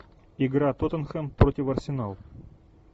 игра тоттенхэм против арсенал